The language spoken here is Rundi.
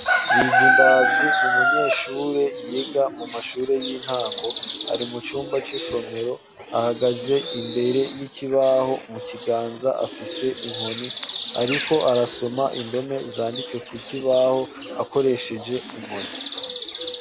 Bizindavyi, ni umunyeshure, yiga mu mashure y'intango; ari mu cumba c'isomero, ahagaze imbere y'ikibaho; mu kiganza, afise inkoni; ariko arasoma indome, zanditse ku kibaho, akoresheje inkoni.